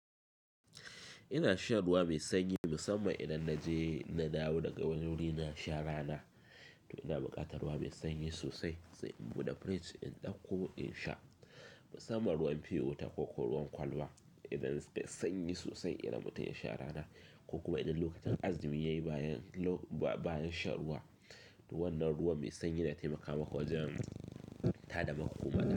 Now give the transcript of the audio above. Ina shan ruwa mai sanyi musamman idan na je na dawo daga wani wuri na sha rana. To ina buƙatar ruwa mai sanyi sosai sai in bude fridge in ɗauko in sha. Musamman ruwan fe wuta ko kuwa ruwan kwalba idan yai sanyi sosai idan mutum ya sha rana ko kuma idan lokacin azumi yayi bayan, bayan shan ruwa. To wannan ruwa mai sanyi na taimaka mako wajen tada makomanka.